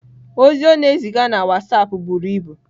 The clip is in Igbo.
Ozi ọ na-eziga na WhatsApp buru ibu.